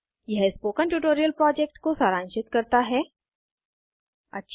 httpspoken tutorialorgWhat is a Spoken tutorial यह spoken tutorial project को सारांशित करता है